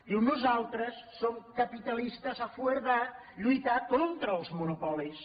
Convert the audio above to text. diu nosaltres som capitalistes a favor de lluitar contra els monopolis